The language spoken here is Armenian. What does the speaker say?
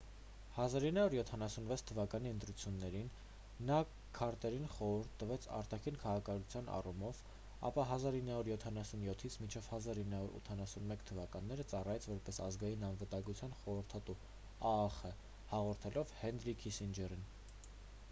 1976 թվականի ընտրություններին նա քարտերին խորհուրդ տվեց արտաքին քաղաքականության առումով ապա 1977-ից մինչև 1981 թվականները ծառայեց որպես ազգային անվտանգության խորհրդատու աախ՝ հաջորդելով հենրի քիսինջերին։